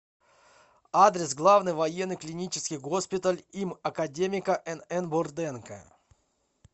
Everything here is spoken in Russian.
адрес главный военный клинический госпиталь им академика нн бурденко